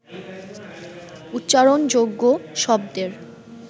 উচ্চারণযোগ্য শব্দের